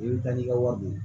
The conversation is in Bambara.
I bɛ taa n'i ka wari don